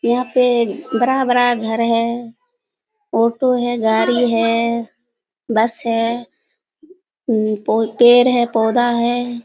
यहाँ पे बड़ा-बड़ा घर है ऑटो है गाड़ी है बस है पेड़ है पौधा हैं ।